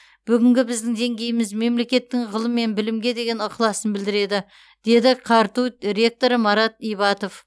бүгінгі біздің деңгейіміз мемлекеттің ғылым мен білімге деген ықыласын білдіреді деді қарту ректоры марат ибатов